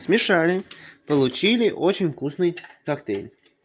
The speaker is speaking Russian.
смешали получили очень вкусный коктейль